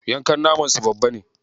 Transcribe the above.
Yankan naman su babba ne.